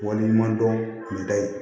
Waleɲumandɔn nin da ye